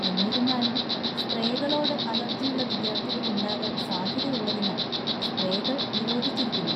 എന്നിരുന്നാലും, സ്‌പ്രേകളോട് അലർജിയുള്ള വിദ്യാർത്ഥികൾ ഉണ്ടാകാൻ സാധ്യതയുള്ളതിനാൽ സ്‌പ്രേകൾ നിരോധിച്ചിരിക്കുന്നു.